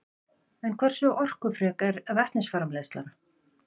En hversu orkufrek er vetnisframleiðslan?